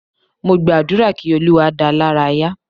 Mo gba àdúrà kí Olúwa dáa lára ya